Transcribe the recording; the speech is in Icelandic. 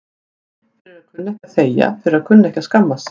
Fyrir að kunna ekki að þegja, fyrir að kunna ekki að skammast sín.